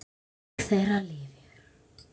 Minning þeirra lifir.